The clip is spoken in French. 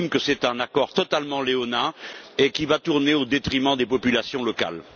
J'estime que c'est un accord totalement léonin qui va tourner au détriment des populations locales.